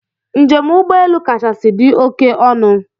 Njem ugbọelu kachasị dị oké ọnụ